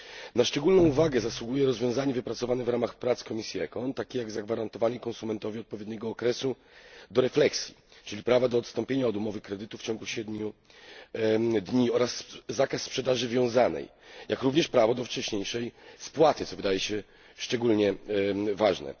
Na szczególną uwagę zasługuje rozwiązanie wypracowane w ramach prac komisji ECON, takie jak zagwarantowanie konsumentowi odpowiedniego okresu do refleksji, czyli prawa do odstąpienia od umowy kredytu w terminie 7 dni, oraz zakaz sprzedaży wiązanej, jak również prawo do wcześniejszej spłaty, co wydaje się szczególnie ważne.